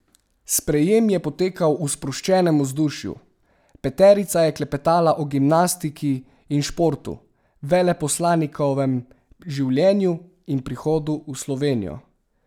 Sprejem je potekal v sproščenem vzdušju, peterica je klepetala o gimnastiki in športu, veleposlanikovem življenju in prihodu v Slovenijo.